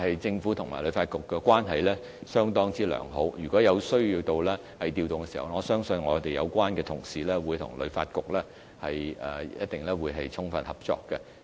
政府與旅發局的關係很好，若有需要作出調動，我相信有關同事會跟旅發局充分合作。